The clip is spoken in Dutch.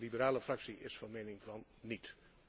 De liberale fractie is van mening van niet.